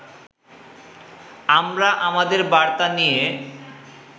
আমরা আমাদের বার্তা নিয়ে